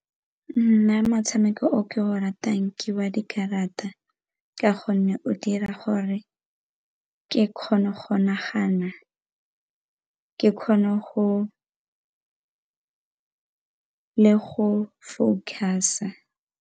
Nna motshameko o ke o ratang ke wa dikarata, ka gonne o dira gore ke kgone go nagana ke kgone go le go focus-a.